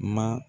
Ma